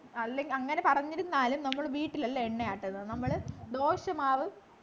അല്ലെങ്കി അങ്ങനെ പറഞ്ഞിരുന്നാലും നമ്മള് വീട്ടിലല്ല എണ്ണയാട്ടുന്നത് നമ്മള് ദോശമാവ്